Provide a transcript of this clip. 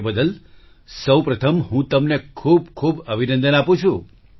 એ બદલ સૌપ્રથમ હું તમને ખૂબ ખૂબ અભિનંદન આપું છું